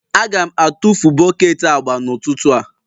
Aga m atụfu bọket agba n'ụtụtụ a.